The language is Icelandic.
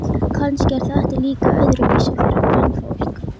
Kannski er þetta líka öðruvísi fyrir kvenfólk.